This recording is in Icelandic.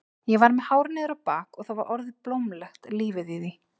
Ég var með hár niður á bak og það var orðið blómlegt lífið í því.